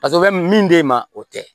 o bɛ min d'e ma o tɛ